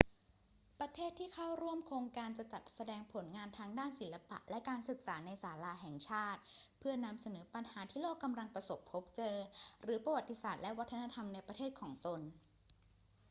ประเทศที่เข้าร่วมโครงการจะจัดแสดงผลงานทางด้านศิลปะและการศึกษาในศาลาแห่งชาติ เพื่อนำเสนอปัญหาที่โลกกำลังประสบพบเจอ หรือประวัติศาสตร์และวัฒนธรรมในประเทศของตน